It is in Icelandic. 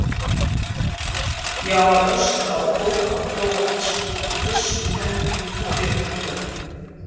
Ég að öskra á fólk á króatísku, með byssu í hendi og lekandi löpp.